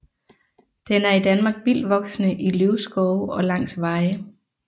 Den er i Danmark vildtvoksende i løvskove og langs veje